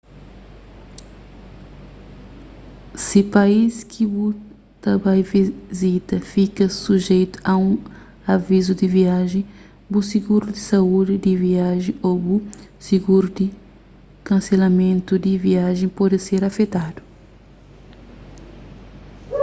si país ki bu ta bai vizita fika sujeitu a un avizu di viajen bu siguru di saúdi di viajen ô bu siguru di kanselamentu di viajen pode ser afetadu